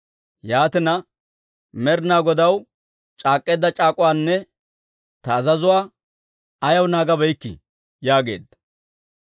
Yaatina, Med'inaa Godaw c'aak'k'eedda c'aak'uwaanne ta azazuwaa ayaw naagabeykkii?» yaageedda.